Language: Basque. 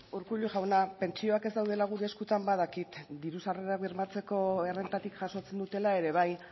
urkullu jauna pentsioak ez daudela gure eskutan badakit diru sarrerak bermatzeko errentatik jasotzen dutela ere bai